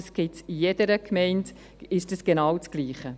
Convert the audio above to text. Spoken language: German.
das ist in jeder Gemeinde genau das Gleiche.